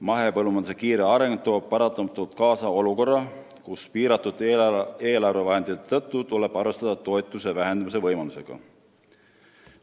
Mahepõllumajanduse kiire areng toob paratamatult kaasa olukorra, kus piiratud eelarvevahendite tõttu tuleb arvestada toetuste vähendamise võimalusega.